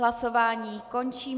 Hlasování končím.